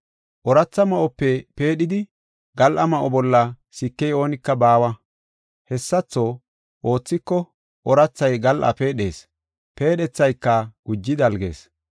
“Ooratha ma7ope peedhidi gal7a ma7o bolla sikey oonika baawa. Hessatho oothiko oorathay gal7a peedhees. Peedhethayka guji dalgees.